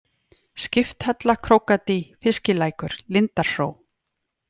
Skipthella, Krókadý, Fiskilækur, Lindarhró